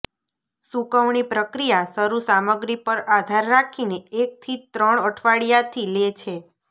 સૂકવણી પ્રક્રિયા શરૂ સામગ્રી પર આધાર રાખીને એક થી ત્રણ અઠવાડિયા થી લે છે